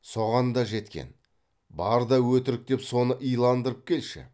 соған да жеткен бар да өтірік деп соны иландырып келші